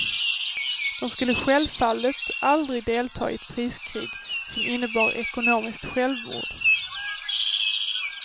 De skulle självfallet aldrig delta i ett priskrig som innebar ekonomiskt självmord.